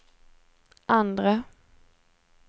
andre